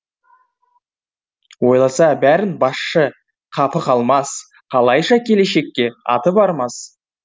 ойласа бәрін басшы қапы қалмас қалайша келешекке аты бармас